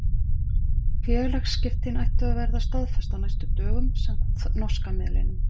Félagsskiptin ættu að verða staðfest á næstu dögum samkvæmt norska miðlinum.